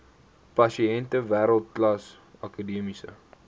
pasiënte wêreldklas akademiese